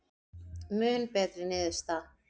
Mun betri niðurstaða